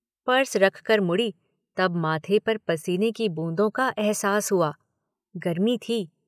Purse रखकर मुड़ी तब माथे पर पसीने की बूंदों का अहसास हुआ। गर्मी थी।